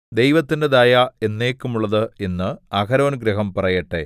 ദൈവത്തിന്റെ ദയ എന്നേക്കുമുള്ളത് എന്ന് അഹരോൻഗൃഹം പറയട്ടെ